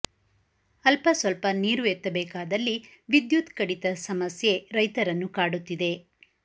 ಅಲ್ಪಸ್ವಲ್ಪ ನೀರು ಎತ್ತ ಬೇಕಾದಲ್ಲಿ ವಿದ್ಯುತ್ ಕಡಿತ ಸಮಸ್ಯೆ ರೈತರನ್ನು ಕಾಡುತ್ತಿದೆ